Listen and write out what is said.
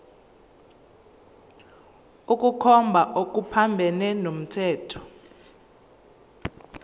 ukukhomba okuphambene nomthetho